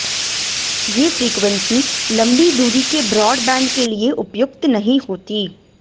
ये फ्रीक्वेंसी लंबी दूरी के ब्रॉडबैंड के लिए उपयुक्त नहीं होतीं